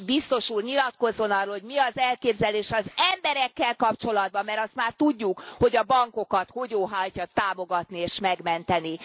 És Biztos Úr nyilatkozzon arról, hogy mi az elképzelése az emberekkel kapcsolatban, mert azt már tudjuk, hogy a bankokat hogy óhajtja támogatni és megmenteni.